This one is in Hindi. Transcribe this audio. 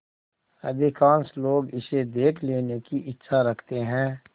अधिकांश लोग इसे देख लेने की इच्छा रखते हैं